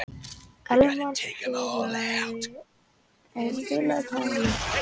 Elvar, spilaðu tónlist.